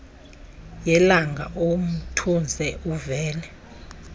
yelanga umtuze uvele